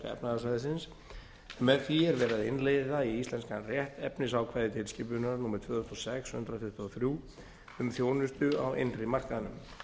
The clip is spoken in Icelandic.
efnahagssvæðisins en með því er verið að innleiða í íslenskan rétt efnisákvæði tilskipunar númer tvö þúsund og sex hundrað tuttugu og þrjú um þjónustu á innri markaðnum